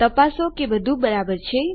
તપાસો કે બધું બરાબર છે